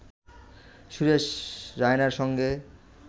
সুরেশ রায়নার সঙ্গে